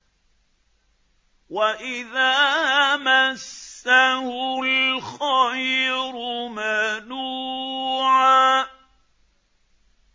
وَإِذَا مَسَّهُ الْخَيْرُ مَنُوعًا